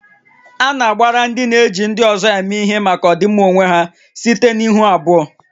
A na-agbara ndị na-eji ndị ọzọ eme ihe maka ọdịmma onwe ha site na ihu abụọ